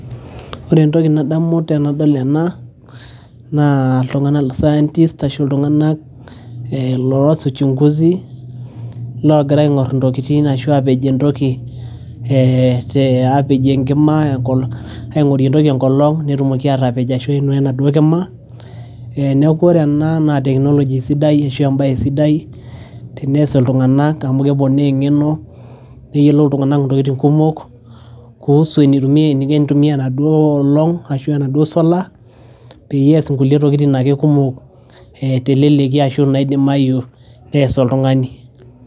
ore entoki nadamu tenadol ena naa iltung'anak scientiest ashu iltung'anak eh loos uchunguzi logira aing'orr intokitin ashua apej entoki eete apejie enkima aing'orie entoki enkolong netumoki atapej ashu ainua enaduo kima eh neku ore ena naa technology sidai ashu embaye sidai tenees iltung'anak amu keponaa eng'eno neyiolo iltung'anak intokiting kumok kuhusu eniko enitumia enaduo olong ashu enaduo solar peyie ees nkulie ntokitin ake kumok eh teleleki ashu naidimayu nees oltung'ani.